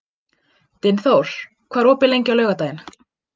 Dynþór, hvað er opið lengi á laugardaginn?